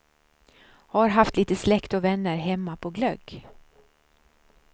Har haft lite släkt och vänner hemma på glögg.